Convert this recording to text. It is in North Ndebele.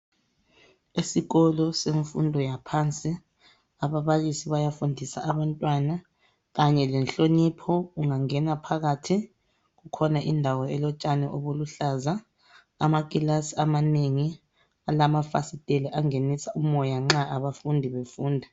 Isikolo semfundo yaphansi, ababalisi bayafundisa abantwana. Kanye lenhlonipho. Ungangena phakathi, kukhona indawo elotshani obuluhlaza. Amakilasi amanengi, alamafasiteli, angenisa umoya nxa abafundi befunda.